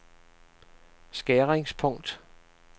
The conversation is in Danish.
skæringspunkt